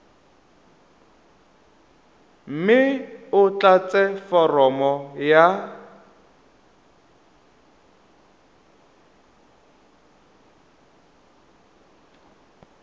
mme o tlatse foromo ya